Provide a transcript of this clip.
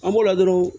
An b'o ladon